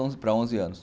onze para onze anos.